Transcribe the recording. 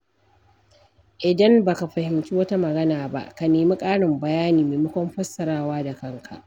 Idan baka fahimci wata magana ba, ka nemi ƙarin bayani maimakon fassarawa da kanka.